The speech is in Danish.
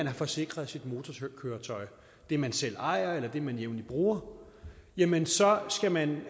har forsikret sit motorkøretøj det man selv ejer eller det man jævnligt bruger jamen så skal man